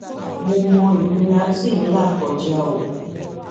mo mọ ìnira tẹẹ ń là kọjá o